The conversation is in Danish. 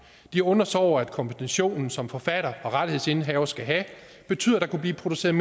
de undrer sig over at kompensationen som forfatter og rettighedsindehaver skal have betyder at der kunne blive produceret